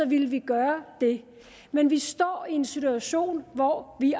ville vi gøre det men vi står i en situation hvor vi